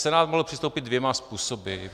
Senát mohl přistoupit dvěma způsoby.